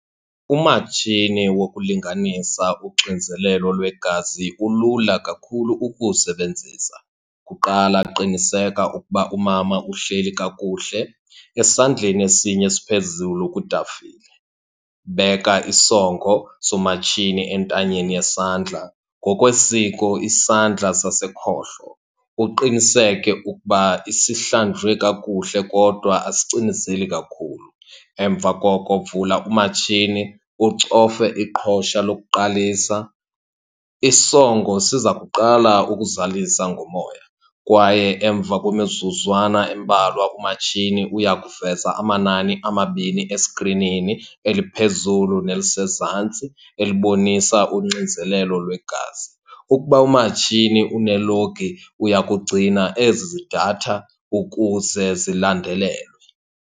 Umatshini wokulinganisa uxinzelelo lwegazi ulula kakhulu ukuwusebenzisa. Kuqala qiniseka ukuba umama uhleli kakuhle, esandleni esinye esiphezulu kutafile. Beka isongo somatshini entanyeni yesandla, ngokwesiko isandla sasekhohlo. Uqiniseke ukuba sihlanjwe kakuhle kodwa asicinizeli kakhulu. Emva koko vula umatshini, ucofe iqhosha lokuqalisa. Isongo siza kuqala ukuzalisa ngomoya kwaye emva kwemizuzwana embalwa, umatshini uya kuveza amanani amabini eskrinini, eliphezulu nelisezantsi elibonisa uxinzelelo lwegazi. Ukuba umatshini unelogi uya kugcina ezi datha ukuze zilandelelwe.